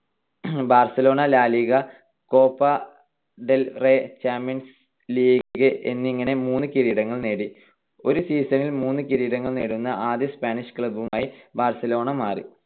Barcelona La Liga, Copa del Rey, Champions League എന്നിങ്ങനെ മൂന്ന് കിരീടങ്ങൾ നേടി. ഒരു season ൽ മൂന്ന് കിരീടങ്ങൾ നേടുന്ന ആദ്യ സ്പാനിഷ് club ആയി ബാർസലോണ മാറി.